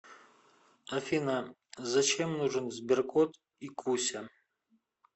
афина зачем нужен сберкот и куся